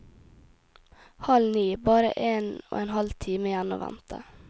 Halv ni, bare en og en halv time igjen å vente.